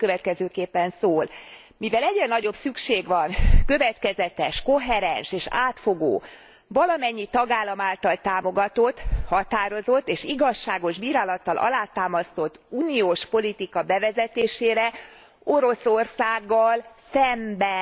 Ez a következőképpen szól mivel egyre nagyobb szükség van következetes, koherens és átfogó, valamennyi tagállam által támogatott, határozott és igazságos bírálattal alátámasztott uniós politika bevezetésére Oroszországgal szemben.